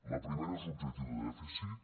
la primera és l’objectiu de dèficit